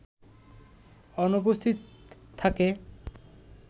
অনুপস্থিত থাকে